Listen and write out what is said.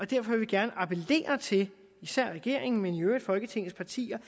derfor vil vi gerne appellere til især regeringen men i øvrigt folketingets partier